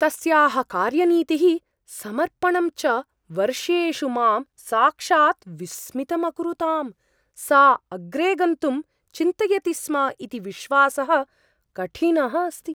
तस्याः कार्यनीतिः समर्पणं च वर्षेषु मां साक्षात् विस्मितम् अकुरुताम् ; सा अग्रे गन्तुं चिन्तयति स्म इति विश्वासः कठिनः अस्ति।